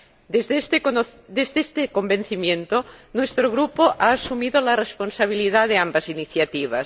Desde este convencimiento, nuestro Grupo ha asumido la responsabilidad de ambas iniciativas.